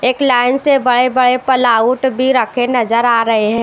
एक लाइन से बड़े-बड़े पलाउट भी रखे नजर आ रहे हैं।